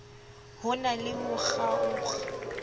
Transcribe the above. ho na le ho kgaokg